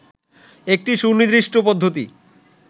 একটি সুনির্দিষ্ট পদ্ধতি